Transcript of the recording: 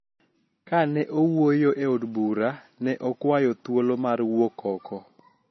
Ka ne owuoyo e Od Bura, ne okwayo thuolo mar wuok oko